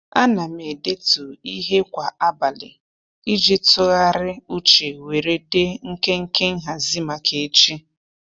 A na m edetu ihe kwa abalị iji tụgharị uche were dee nkenke nhazị maka echi.